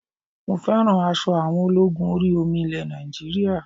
Mo fẹ́ràn aṣọ àwọn ológun orí omi ilẹ̀ Nàìjíríà